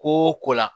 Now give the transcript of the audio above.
Ko o ko la